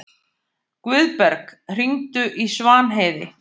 Guðberg, hringdu í Svanheiði.